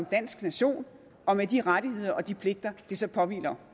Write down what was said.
dansk nation og med de rettigheder og de pligter det så påhviler